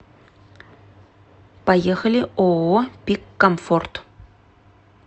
поехали ооо пик комфорт